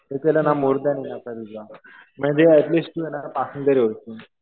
ते केलं ना मोअर दॅन इनफ आहे तुझं. म्हणजे ऍटलीस्ट तू आहे ना पासिंग तरी होईल.